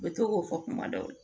U bɛ to k'o fɔ kuma dɔw la